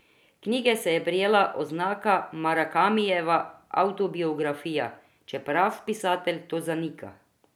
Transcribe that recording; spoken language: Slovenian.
Knjige se je prijela oznaka Murakamijeva avtobiografija, čeprav pisatelj to zanika.